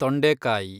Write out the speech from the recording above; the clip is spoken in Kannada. ತೊಂಡೆಕಾಯಿ